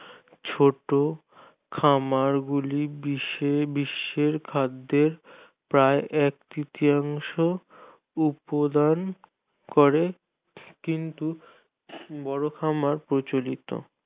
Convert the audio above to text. ছোট খামারগুলি বিশ্বে~ বিশ্বের খাদ্যের প্রায় ‌এক তৃতীয়াংশ উৎপাদন করে কিন্তু বড় খামার প্রচলিত